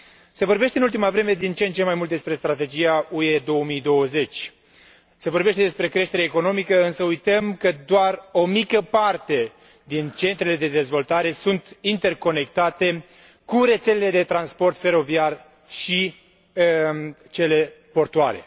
Se vorbește în ultima vreme din ce în ce mai mult despre Strategia UE 2020, se vorbește despre creștere economică, însă uităm că doar o mică parte din centrele de dezvoltare sunt interconectate cu rețelele de transport feroviar și cele portuare.